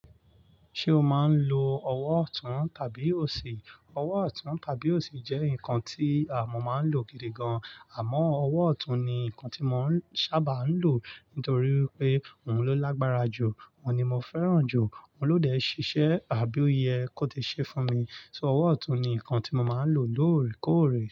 Ṣé o máa ń lo ọwọ́ ọ̀tún tàbí òsì? Ọwọ́ ọ̀tún tàbí òsì jẹ́ nǹkan tí àmọ́ máa ń lò gidi gan, àmọ́ ọwọ́ ọ̀tún ni nǹkan tí mò ń sábà ń lò nítorí pé òun ló lágbára jù, òun ni mo fẹ́ràn jù, òun ló dẹ̀ ṣiṣẹ́ àbí ó yẹ kó ti ṣe fún mi. So ọwọ́ ọ̀tún ni nǹkan tí mo máa ń lò lóòrèkóòrè.